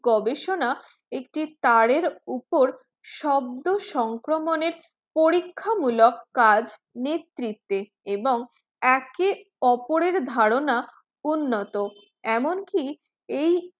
গবেষণা একটি তারের উপর শব্দ সংক্রমণে পরীক্ষামূলক কাজ নেতৃত্বে এবং একে ওপরের ধারণা উন্নত এমন কি এই